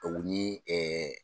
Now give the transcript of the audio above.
O ni ɛɛ